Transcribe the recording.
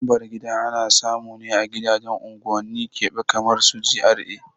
Lambar gida ana samune a gidajen unguwanni keɓe kamar su GRA